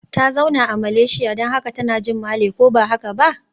Ta zauna a Malaysia don haka tana jin Malay, ko ba haka ba?